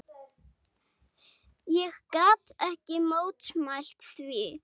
Ég gat ekki mótmælt því.